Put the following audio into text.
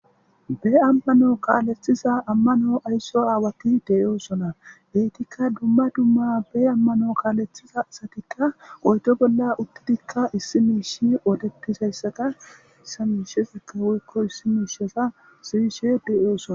Be ammano kaaleththiza ammano aysso aawati deyoosona eetikka dumma dumma be ammano kaalethiza asatikka oyto bolla uttidikka issi miishi oodetizayssata isamiishezikka woykko issi miisheza siyishe deyoosona.